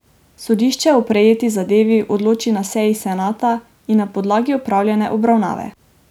Sodišče o prejeti zadevi odloči na seji senata ali na podlagi opravljene obravnave.